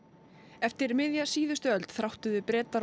eftir miðja síðustu öld þráttuðu Bretar og